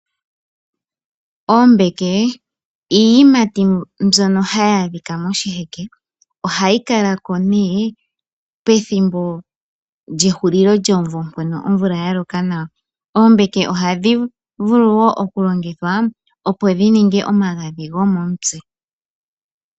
Oombeke iiyimati mbyoka hayi adhika moshiheke. Ohayi kalako ne pethimbo lye hulilo lyomumvo, uuna omvula ya loka nawa. Oombeke ohadhi vulu wo oku longithwa opo dhi ninge omagadhi gomomutse.